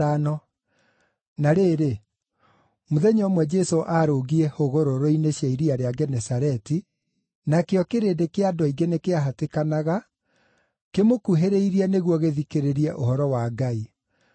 Na rĩrĩ, mũthenya ũmwe Jesũ arũngiĩ hũgũrũrũ-inĩ cia iria rĩa Genesareti, nakĩo kĩrĩndĩ kĩa andũ aingĩ nĩkĩahatĩkanaga kĩmũkuhĩrĩrie nĩguo gĩthikĩrĩrie ũhoro wa Ngai,